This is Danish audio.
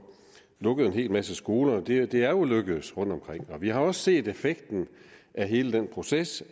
lukket en hel masse skoler det er det er jo lykkedes rundtomkring og vi har også set effekten af hele den proces